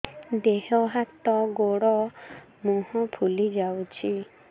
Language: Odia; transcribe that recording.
ଦେହ ହାତ ଗୋଡୋ ମୁହଁ ଫୁଲି ଯାଉଛି